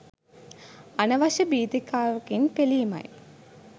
අනවශ්‍ය භීතිකාවකින් පෙළීමයි.